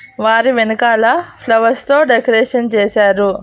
వారి వెనకాల ఫ్లవర్స్ తో డెకరేషన్ చేశారు.